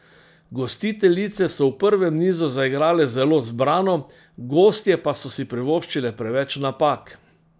Gostiteljice so v prvem nizu zaigrale zelo zbrano, gostje pa so si privoščile preveč napak.